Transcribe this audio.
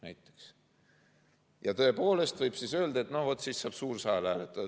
Siis võib tõepoolest öelda, et no vot, nüüd saab suur saal hääletada.